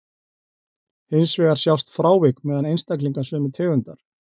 Hins vegar sjást frávik meðal einstaklinga sömu tegundar.